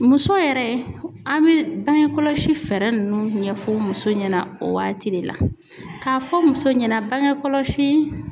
Muso yɛrɛ an be bange kɔlɔsi fɛɛrɛ nunnu ɲɛfɔ muso ɲɛna . O waati de la ka fɔ muso ɲɛna bangekɔlɔsi